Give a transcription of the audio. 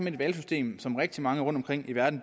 et valgsystem som rigtig mange rundtomkring i verden